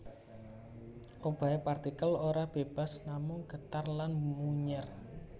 Obahe partikel ora bebas namung getar lan munyèr